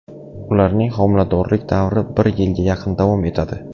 Ularning homiladorlik davri bir yilga yaqin davom etadi.